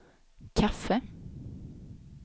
kaffe